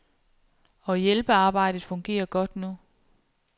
Og hjælpearbejdet fungerer godt nu.